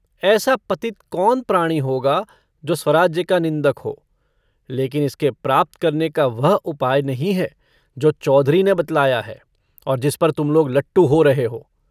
ऐसा पतित कौन प्राणी होगा जो स्वराज्य का निन्दक हो लेकिन इसके प्राप्त करने का वह उपाय नहीं है जो चौधरी ने बतलाया है और जिस पर तुम लोग लट्टू हो रहे हो।